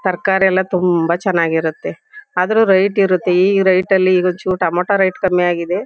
ತರಕಾರಿ ಎಲ್ಲಾ ತುಂಬಾ ಚನಾಗಿರತ್ತೆ. ಆದ್ರೂ ರೇಟ್ ಇರತ್ತೆ ಈ ರೇಟ್ ಅಲ್ಲಿ ಈಗ್ ಒನ್ ಚುರ್ ಟೊಮೇಟೊ ರೇಟ್ ಕಮ್ಮಿಆಗಿದೆ.